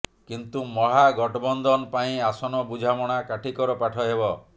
କିନ୍ତୁ ମହାଗଠବନ୍ଧନ ପାଇଁ ଆସନ ବୁଝାମଣା କାଠିକର ପାଠ ହେବ